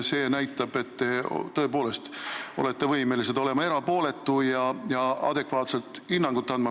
See näitab, et te tõepoolest olete võimeline olema erapooletu ja adekvaatselt hinnangut andma.